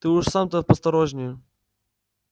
ты уж сам-то поосторожнее